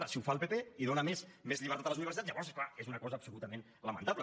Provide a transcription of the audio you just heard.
ara si ho fa el pp i dóna més llibertat a les universitats llavors és clar és una cosa absolutament lamentable